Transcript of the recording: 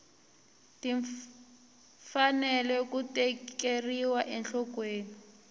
ti fanele ku tekeriwa enhlokweni